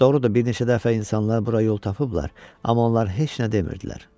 Doğrudur, bir neçə dəfə insanlar bura yol tapıblar, amma onlar heç nə demirdilər.